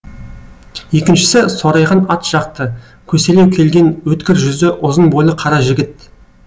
екіншісі сорайған ат жақты көселеу келген өткір жүзді ұзын бойлы қара жігіт